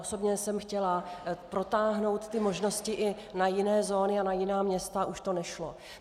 Osobně jsem chtěla protáhnout ty možnosti i na jiné zóny a na jiná města a už to nešlo.